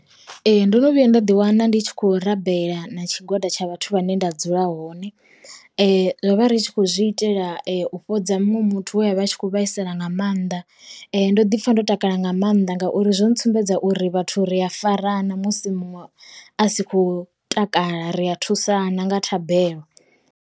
Ee ndo no vhuya nda ḓi wana ndi tshi kho rabela na tshigwada tsha vhathu vhane nda dzula hone. Ro vha ri tshi kho zwi itela u fhodza muṅwe muthu we a vha a tshi kho vhaisala nga mannḓa, ndo ḓi pfa ndo takala nga maanḓa ngauri zwo ntsumbedza uri vhathu ri a farana musi muṅwe a si khou takala ri a thusana nga thabelo.